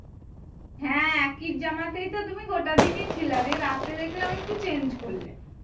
হ্যাঁ একটি জামাতে তো তুমি গোটা দিনই ছিলা। রে রাতে দেখলাম একটু change করলে।